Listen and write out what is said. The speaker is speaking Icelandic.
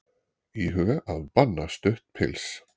Íhuga að banna stutt pils